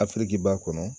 Afiriki b'a kɔnɔ